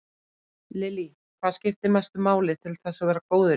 Lillý: Hvað skipti mestu máli til þess að vera góður í þessu?